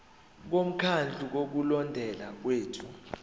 bomkhandlu wokulondeka kwethu